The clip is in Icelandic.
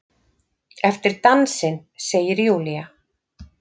Eftir dansinn, segir Júlía.